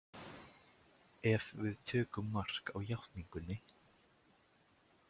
Ef við tökum mark á játningunni.